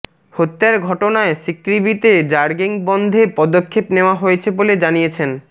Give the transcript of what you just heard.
হত্যার ঘটনায় সিকৃবিতে র্যাগিং বন্ধে পদক্ষেপ নেওয়া হয়েছে বলে জানিয়েছেন